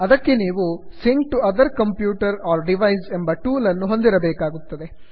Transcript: ಅದಕ್ಕೆ ನೀವು sync to other computer or device ಎಂಬ ಟೂಲ್ ಅನ್ನು ಹೊಂದಿರಬೇಕಾಗುತ್ತದೆ